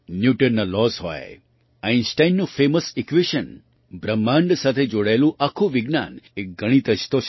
ન્યૂટનના laws હોય આઇનસ્ટાઇનનું famous equation બ્રહ્માંડ સાથે જોડાયેલું આખું વિજ્ઞાન એક ગણિત જ તો છે